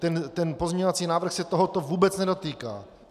Ten pozměňovací návrh se tohoto vůbec nedotýká!